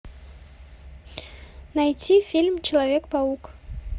найти фильм человек паук